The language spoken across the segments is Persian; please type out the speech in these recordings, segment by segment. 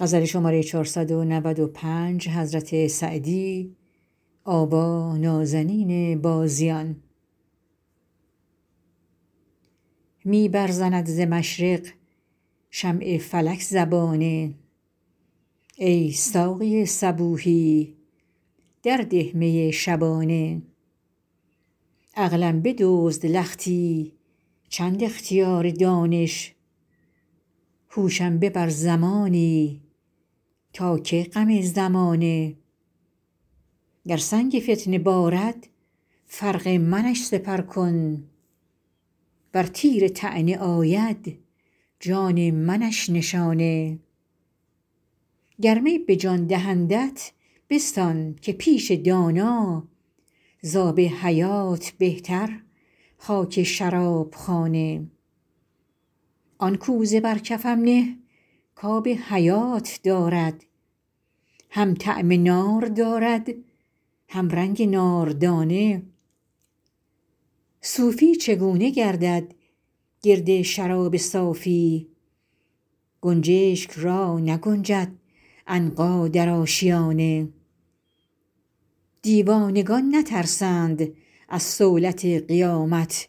می برزند ز مشرق شمع فلک زبانه ای ساقی صبوحی در ده می شبانه عقلم بدزد لختی چند اختیار دانش هوشم ببر زمانی تا کی غم زمانه گر سنگ فتنه بارد فرق منش سپر کن ور تیر طعنه آید جان منش نشانه گر می به جان دهندت بستان که پیش دانا زآب حیات بهتر خاک شراب خانه آن کوزه بر کفم نه کآب حیات دارد هم طعم نار دارد هم رنگ ناردانه صوفی چگونه گردد گرد شراب صافی گنجشک را نگنجد عنقا در آشیانه دیوانگان نترسند از صولت قیامت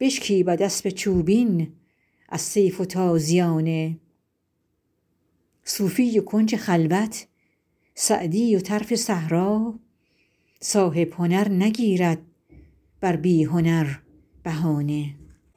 بشکیبد اسب چوبین از سیف و تازیانه صوفی و کنج خلوت سعدی و طرف صحرا صاحب هنر نگیرد بر بی هنر بهانه